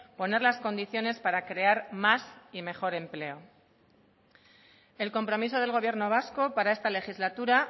poner las condiciones para crear más y mejor empleo el compromiso del gobierno vasco para esta legislatura